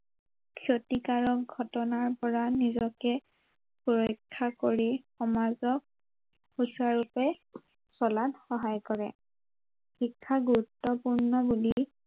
ক্ষতিকাৰক ঘটনাৰ পৰা নিজকে ৰক্ষা কৰি সমাজক সুচাৰুৰূপে চলাত সহায় কৰে, শিক্ষা গুৰুত্ৱপূৰ্ণ বুলি